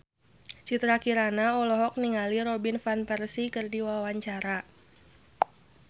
Citra Kirana olohok ningali Robin Van Persie keur diwawancara